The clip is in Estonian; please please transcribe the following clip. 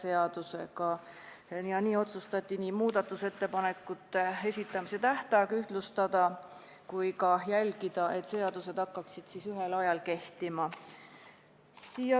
Otsustati ühtlustada muudatusettepanekute esitamise tähtajad ja jälgida, et seadused hakkaksid ühel ajal kehtima.